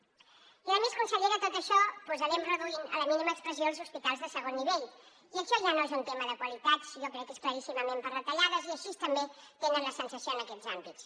i a més consellera tot això doncs anem reduint a la mínima expressió els hospitals de segon nivell i això ja no és un tema de qualitats jo crec que és claríssimament per retallades i així també tenen la sensació en aquests àmbits